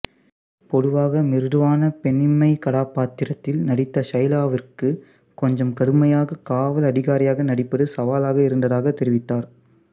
பொதுவாக மிருதுவான பெண்ணிமை கதாபாத்திரத்தில் நடித்த ஷைலாவிற்கு கொஞ்சம் கடுமையாக காவல் அதிகாரியாக நடிப்பது சவாலாக இருந்ததாக தெரிவித்தார்